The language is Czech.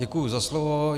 Děkuji za slovo.